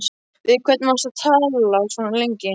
Við hvern varstu að tala svona lengi?